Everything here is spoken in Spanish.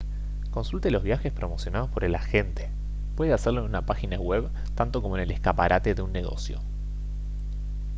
consulte los viajes promocionados por el agente puede hacerlo en una página web tanto como en el escaparate de un negocio